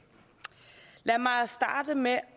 lad mig starte med at